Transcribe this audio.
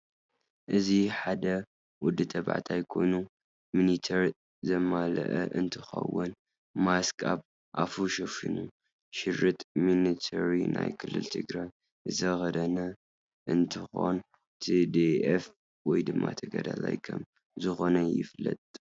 እዚ ሓደ ወድ ታባዕታየ ኮይኑ ሚንተሪ ዘመላእ እንትከውን ማስክ ኣብ ኣፍ ሸፈኑ ሽርጥ ሚንተሪ ናይ ክልልትግራይ ዝተከደነ እ ንትከን ትዲአፍ ወይ ድማ ተጋዳላይ ከም ዝከነ ይፍለጥ።